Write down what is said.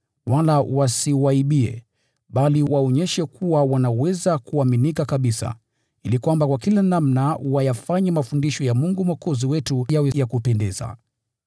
wala wasiwaibie, bali waonyeshe kuwa wanaweza kuaminika kabisa, ili kwa kila namna wayafanye mafundisho ya Mungu Mwokozi wetu yawe ya kuvutia.